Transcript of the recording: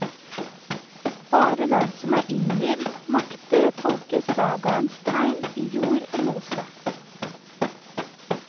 Bare den som er innvidd, makter å tolke sagaens tegn i jord og mose.